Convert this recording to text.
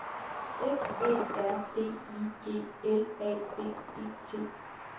F Æ R D I G L A V E T